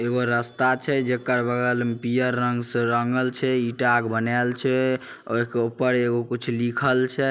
एगो रास्ता छे जेकर बगल में पियर रंग से रंगल छे ईटा के बनाएल छे और एकर ऊपर एगो कुछ लिखल छे।